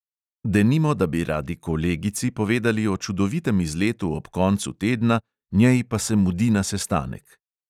Denimo, da bi radi kolegici povedali o čudovitem izletu ob koncu tedna, njej pa se mudi na sestanek.